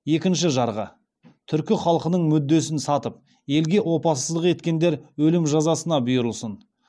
екінші жарғы түркі халқының мүддесін сатып елге опасыздық еткендер өлім жазасына бұйырылсын